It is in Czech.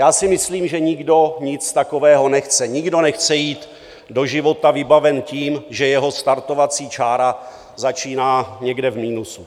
Já si myslím, že nikdo nic takového nechce, nikdo nechce jít do života vybaven tím, že jeho startovací čára začíná někde v minusu.